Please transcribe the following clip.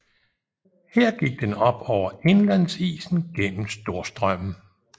Her gik den op over indlandsisen gennem Storstrømmen